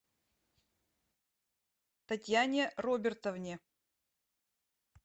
татьяне робертовне